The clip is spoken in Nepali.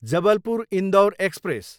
जबलपुर, इन्डोर एक्सप्रेस